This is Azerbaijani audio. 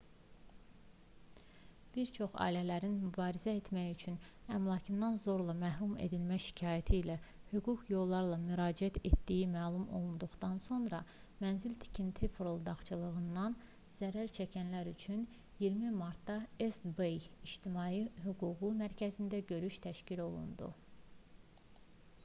bir çox ailələrin mübarizə etmək üçün əmlakdan zorla məhrum edilmə şikayəti ilə hüquqi yollara müraciət etdiyi məlum olduqdan sonra mənzil-tikinti fırıldaqçılığından zərər çəkənlər üçün 20 martda east-bay i̇ctimai hüquq mərkəzində görüş təşkil olundu